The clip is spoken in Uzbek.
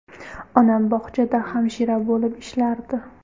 Onam bog‘chada hamshira bo‘lib ishlardi.